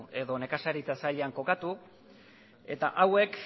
edo nekazaritza sailean kokatu eta hauek